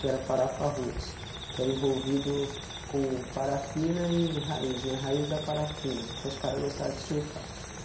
que era parafaroots, que era envolvido com parafina e raiz né, raiz da parafina, porque os caras gostava de surfar.